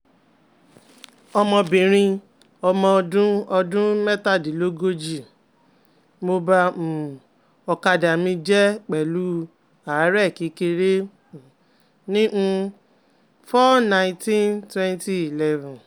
omobinrin omo odun odun metadinlogoji, mo ba um okada mije pelu are kekere um ni um four nineteen twenty eleven